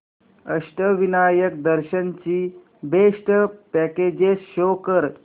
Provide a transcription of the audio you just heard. अष्टविनायक दर्शन ची best packages show कर